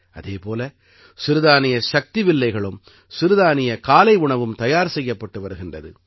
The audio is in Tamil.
அதே போல சிறுதானிய சக்தி வில்லைகளும் சிறுதானிய காலை உணவும் தயார் செய்யப்பட்டு வருகின்றது